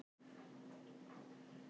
Þannig verður þetta alltaf.